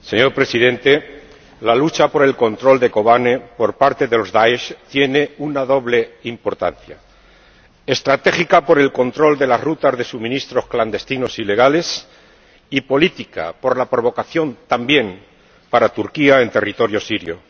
Señor Presidente, la lucha por el control de Kobane por parte del DAESH tiene una doble importancia estratégica, por el control de las rutas de suministros clandestinos ilegales, y política, por la provocación también para Turquía en territorio sirio.